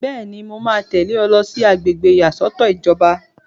Bẹ́ẹ̀ni, mo máa tẹ̀lé ọ lọ sí àgbègbè ìyàsọ́tọ̀ ìjọba